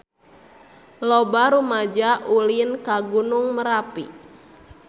Loba rumaja ulin ka Gunung Merapi